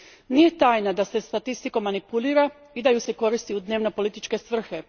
Nije tajna da se statistikom manipulira i da je se koristi u dnevno političke svrhe.